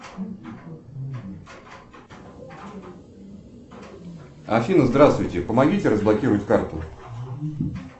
афина здравствуйте помогите разблокировать карту